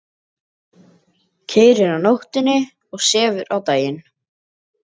Keyrir á nóttunni og sefur á daginn.